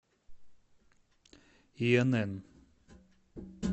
инн